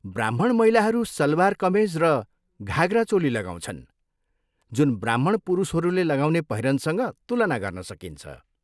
ब्राह्मण महिलाहरू सलवार कमेज र घाघरा चोली लगाउँछन्, जुन ब्राह्मण पुरुषहरूले लगाउने पहिरनसँग तुलना गर्न सकिन्छ।